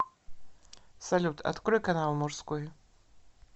салют открой канал мужской